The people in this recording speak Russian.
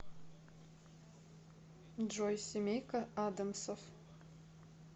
джой семейка адамсов